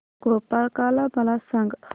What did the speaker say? गोपाळकाला मला सांग